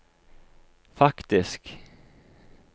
faktisk